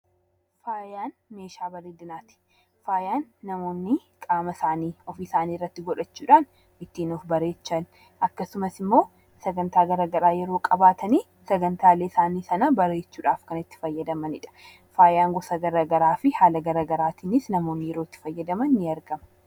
Faayaan meeshaa bareedinaati. Faayaan namoonni qaama isaaniirratti godhachuudhaan kan ittiin of bareechan akkasumas immoo sagantaa garaagaraa yeroo qabaatan sagantaalee isaanii kana bareechuudhaaf kan itti fayyadamanidha. Faaya gosa garaagaraa fi haala garaagaraatiin namoonni yeroo fayyadaman ni argina.